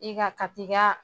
I ka, ka t'i ka